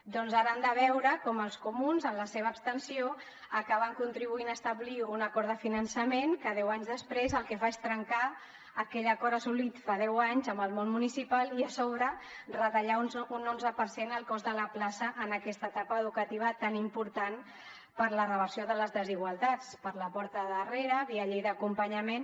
doncs ara hem de veure com els comuns amb la seva abstenció acaben contribuint a establir un acord de finançament que deu anys després el que fa és trencar aquell acord assolit fa deu anys amb el món municipal i a sobre retallar un onze per cent el cost de la plaça en aquesta etapa educativa tan important per a la reversió de les desigualtats per la porta de darrere via llei d’acompanyament